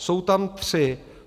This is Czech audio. Jsou tam tři.